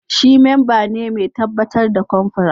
Shi memba ne mai tabbatar da confra